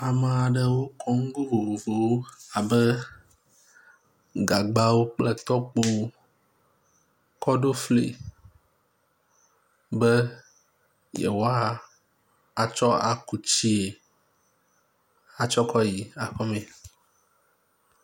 Ame aɖewo kɔ nugo vovovowo abe gagbawo kple tɔkpowo kɔ ɖo fli be yewoatsɔ aku tsie atsɔ kɔ yi aƒeme.